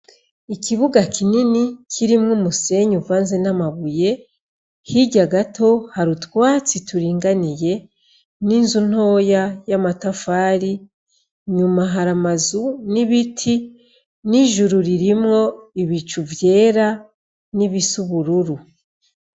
Ikibuga kinini kirimwo umusenyi uvanze n'amabuye hirya gato hari utwatsi turinganiye n'inzu ntoya y'amatafari, nyuma hari amazu n'ibiti, n'ijuru harimwo ibicu vyera n'ibisa ubururu.